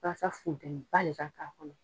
Walase funteni ba le ka k'a kɔnɔ.